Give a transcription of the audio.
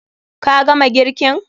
Ka gama girkin?